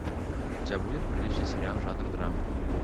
у тебя будет приличный сериал жанра драма